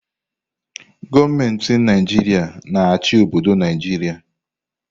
Gọọmenti Naijiria na-achị obodo Naijiria.